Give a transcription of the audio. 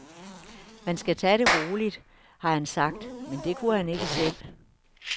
Man skal tage det roligt, har han sagt, men det kunne han ikke selv.